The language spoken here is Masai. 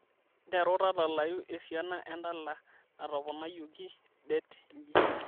nteru tadalayu esiana endala natoponayioki det nji